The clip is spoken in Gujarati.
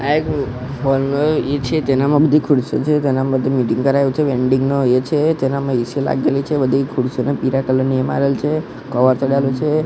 આ એક છે તેનામાં બધી ખુરસીઓ છે તેના માટે મિટિંગ કરાઈ એવુ છે વેન્ડીંગ નો એ છે તેનામાં એ_સી લાગેલી છે બધી ખુરસીઓ ને પીડા કલર ની એ મારેલ છે કવર ચડાવેલું છે.